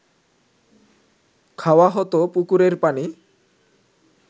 খাওয়া হত পুকুরের পানি